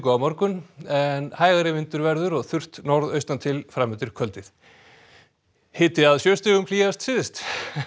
á morgun en hægari vindur verður og þurrt norðaustan til fram undir kvöldið hiti að sjö stigum hlýjast syðst